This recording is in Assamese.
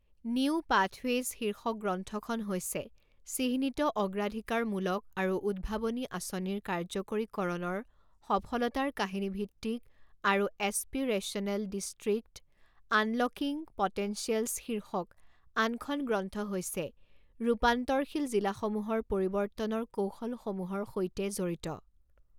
নিউ পাথৱেজ শীৰ্ষক গ্ৰন্থখন হৈছে চিহ্নিত অগ্ৰাধিকাৰমুলক আৰু উদ্ভাৱনী আঁচনিৰ কাৰ্যকৰীকৰণৰ সফলতাৰ কাহিনীভিত্তিক আৰু এছপিৰেচনেল ডিষ্ট্ৰিক্টঃ আনলকিং পটেনচিয়েলছ শীৰ্ষক আনখন গ্ৰন্থ হৈছে ৰূপান্তৰশীল জিলাসমূহৰ পৰিৱৰ্তনৰ কৌশলসমূহৰ সৈতে জড়িত।